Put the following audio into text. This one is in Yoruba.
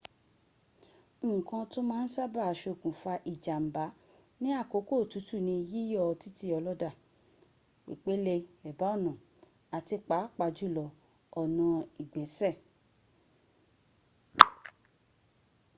nkan to ma n saba sokunfa ijamba ni akoko otutu ni yiyo titi oloda pepele eba ona ati paapa julo ona igbese